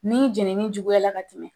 Nin jenini juguyala ka tɛmɛ.